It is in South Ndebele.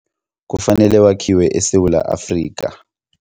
Kufanele wakhiwe eSewula Afrika.